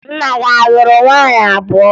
Nna gị a lụrụ nwaanyị abụọ?